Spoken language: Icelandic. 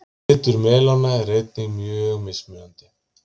litur melóna er einnig mjög mismunandi